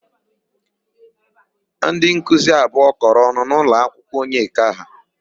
Ndịnkuzi abụọ kọrọ ọnụ n'ụlọakwụkwọ Onyeka ha.